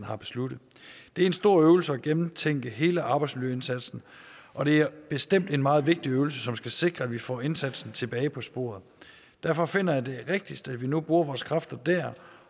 har besluttet det er en stor øvelse at gentænke hele arbejdsmiljøindsatsen og det er bestemt en meget vigtig øvelse som skal sikre at vi får indsatsen tilbage på sporet derfor finder jeg det rigtigst at vi nu bruger vores kræfter der